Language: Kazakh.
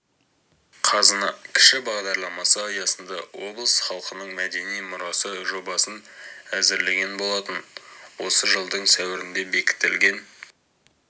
қазына кіші бағдарламасы аясында облыс халқының мәдени мұрасы жобасын әзірлеген болатын осы жылдың сәуірінде бекітілген